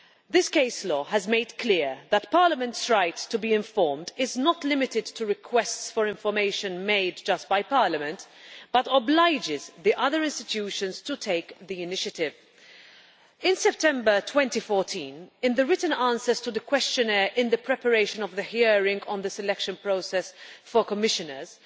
This case law has made clear that Parliament's right to be informed is not limited to requests for information made just by Parliament, but obliges the other institutions to take the initiative. In September 2014, in the written answers to the questionnaire in the preparation of the hearing on the selection process for Commissioners,